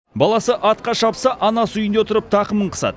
баласы атқа шапса анасы үйінде отырып тақымын қысады